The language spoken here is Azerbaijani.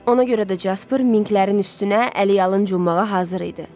Ona görə də Jaspır Minklərin üstünə əliyalın cummağa hazır idi.